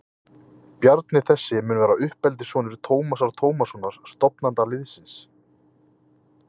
Bjarni þessi mun vera uppeldissonur Tómasar Tómassonar, stofnanda liðsins.